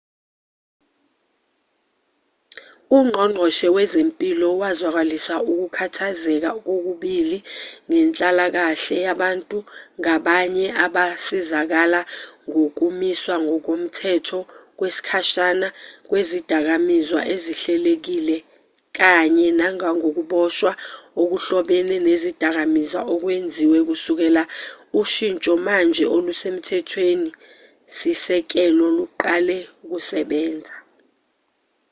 ungqongqoshe wezempilo wazwakalisa ukukhathazeka kokubili ngenhlalakashe yabantu ngabanye abasizakala ngokumiswa ngokomthetho kwesikhashana kwezidakamizwa ezihilelekile kanye nangokuboshwa okuhlobene nezidakamizwa okwenziwe kusukela ushinsho manje olusemthethweni-sisekelo luqale ukusebenza